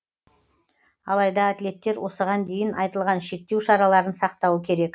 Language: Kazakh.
алайда атлеттер осыған дейін айтылған шектеу шараларын сақтауы керек